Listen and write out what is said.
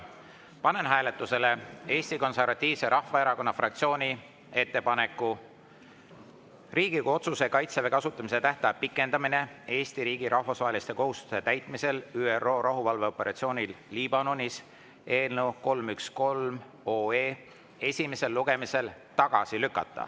Panen hääletusele Eesti Konservatiivse Rahvaerakonna fraktsiooni ettepaneku Riigikogu otsuse "Kaitseväe kasutamise tähtaja pikendamine Eesti riigi rahvusvaheliste kohustuste täitmisel ÜRO rahuvalveoperatsioonil Liibanonis" eelnõu 313 esimesel lugemisel tagasi lükata.